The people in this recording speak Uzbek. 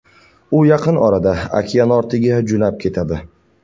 U yaqin orada okeanortiga jo‘nab ketadi.